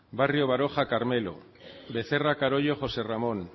barrio baroja carmelo becerra carollo josé ramón